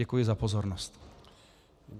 Děkuji za pozornost.